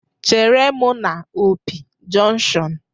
Chere m na Opi jọnkushọn!